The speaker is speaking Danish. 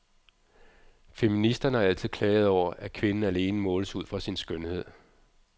Feministerne har altid klaget over, at kvinden alene måles ud fra sin skønhed.